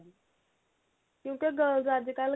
ਕਿਉਂਕਿ ਉਹ girls ਅੱਜਕਲ